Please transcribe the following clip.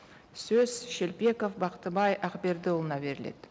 сөз шелпеков бақтыбай ақбердіұлына беріледі